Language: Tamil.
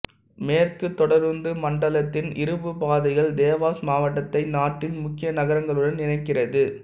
மேற்கு தொடருந்து மண்டலத்தின் இருப்புப்பாதைகள் தேவாஸ் மாவட்டத்தை நாட்டின் முக்கிய நகரங்களுடன் இணைக்கிறது